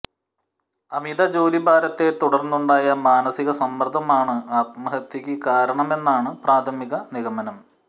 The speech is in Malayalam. അമിത ജോലിഭാരത്തെ തുടർന്നുണ്ടായ മാനസിക സമ്മർദ്ദമാണ് ആത്മഹത്യയ്ക്ക് കാരണമെന്നാണ് പ്രഥാമിക നിഗമനം